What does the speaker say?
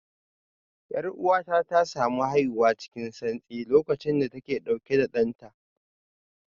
Yar'uwata ta samu haihuwa cikin santsi lokacin da take dauke da danta